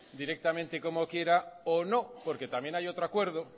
directamente como quiera o no porque también hay otro acuerdo